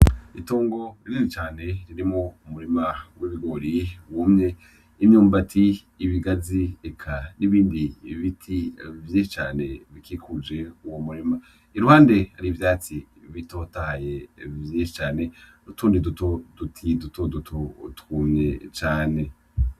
Itongo rinini cane ririmwo umurima w'ibigore wumye, imyumbuti ,ibigazi eka n'ibindi biti vyinshi cane bikikuje uwo murima ,iruhande Hariho ivyatsi bitotahaye vyinshi cane, n'utundi duti dutoto twumye cane .